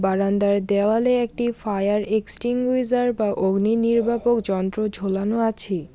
বারান্দায় দেওয়ালে একটি ফায়ার এক্সটিংউজার বা অগ্নি নির্বাপক যন্ত্র ঝোলানো আছে।